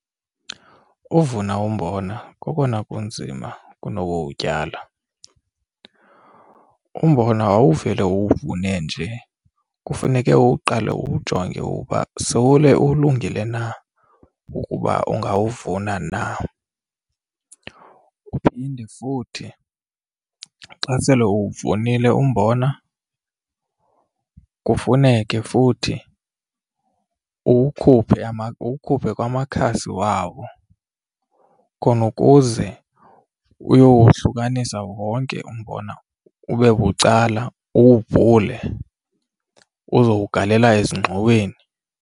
Uvuna umbona kokona kunzima kunokuwutyala. Umbona awuvele uwuvune nje kufuneke uqale uwujonge uba sowule ulungile na ukuba ungawuvuna na. Uphinde futhi xa sele uwuvunile umbona kufuneke futhi uwukhuphe uwukhuphe kwamakhasi wawo, khona ukuze uyowohlukanisa wonke umbona ube bucala, uwubhule uzowugalela ezingxoweni.